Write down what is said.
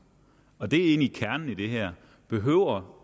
og det er egentlig kernen i det her behøver